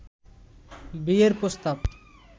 বিয়ের প্রস্তাব